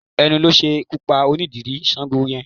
Ẹnu ló ṣekú pa onídìrí Sáńgo yẹn